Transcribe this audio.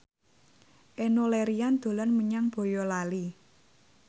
Enno Lerian dolan menyang Boyolali